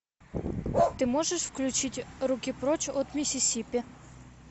ты можешь включить руки прочь от миссисипи